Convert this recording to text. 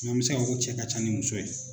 an mɛ se ka fɔ ko cɛ ka ca ni muso ye.